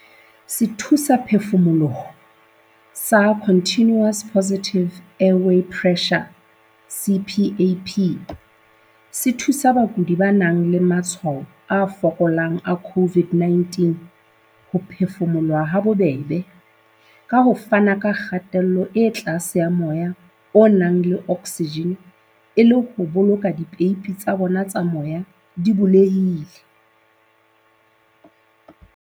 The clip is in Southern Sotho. Sethusaphefumoloho sa Continuous Positive Airway Pressure, CPAP, se thusa bakudi ba nang le matshwao a fokolang a COVID-19 ho phefumoloha habobebe, ka ho fana ka kgatello e tlase ya moya o nang le oksijene e le ho boloka dipeipi tsa bona tsa moya di bulehile.